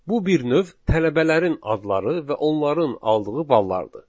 Bu bir növ tələbələrin adları və onların aldığı ballardır.